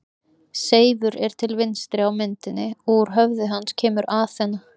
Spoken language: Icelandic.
Seifur er til vinstri á myndinni og úr höfði hans kemur Aþena.